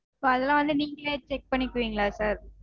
இப்போ அதெல்லாம் வந்து நீங்களே check பண்ணிக்குவீங்களா sir?